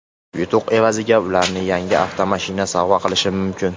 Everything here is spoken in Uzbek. Yutuq evaziga ularga yangi avtomashina sovg‘a qilishim mumkin.